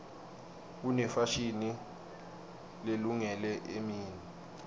kunefashini lelungele emini